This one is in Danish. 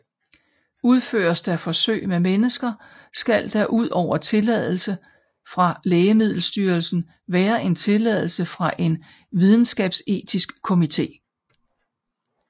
Udføres der forsøg med mennesker skal der udover tilladelse fra Lægemiddelstyrelsen være en tilladelse fra en videnskabsetisk komité